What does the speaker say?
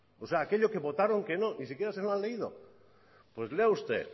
o sea aquello que votaron que no ni siquiera se lo han leído pues lea usted